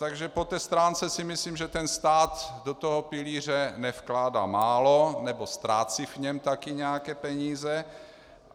Takže po té stránce si myslím, že ten stát do toho pilíře nevkládá málo nebo ztrácí v něm taky nějaké peníze.